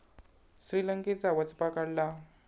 श्रीलंकेचा वचपा काढला